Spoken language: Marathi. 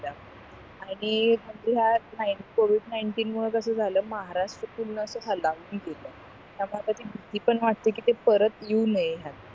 आणि म्हणजे ह्या covid नाईंटीन मुळे कस झालं महाराष्ट्रातून असं पूर्ण त्यामुळे भीती पण वाटते कि ते परत येऊ नये